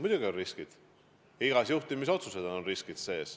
Muidugi, igas juhtimisotsuses peituvad riskid.